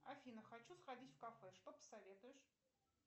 афина хочу сходить в кафе что посоветуешь